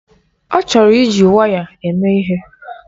Ọ chọrọ iji waya eme ihe.